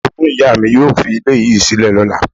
Orogún ìyá mi yóò fi ilé yìí sílẹ̀ ní ọ̀la